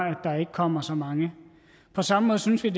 at der ikke kommer så mange på samme måde synes vi